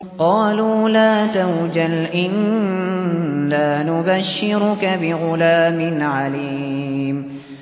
قَالُوا لَا تَوْجَلْ إِنَّا نُبَشِّرُكَ بِغُلَامٍ عَلِيمٍ